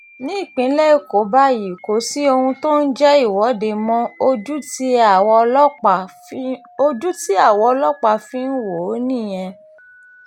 nípínlẹ̀ èkó báyìí kò sí ohun tó ń jẹ́ ìwọ́de mọ́ ojú tí àwa ọlọ́pàá fi ń wò ó nìyẹn